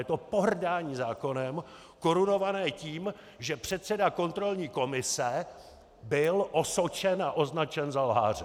Je to pohrdání zákonem korunované tím, že předseda kontrolní komise byl osočen a označen za lháře.